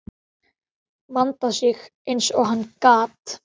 Vandaði sig eins og hann gat.